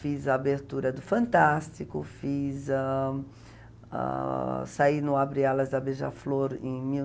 Fiz a abertura do Fantástico, fiz ãh ãh... Saí no Abre Alas da Beija-Flor em mil